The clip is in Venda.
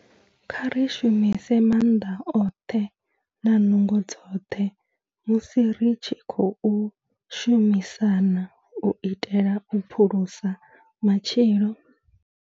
Kha ri shumise maanḓa oṱhe na nungo dzoṱhe musi ri tshi khou shumisana u itela u phulusa matshilo.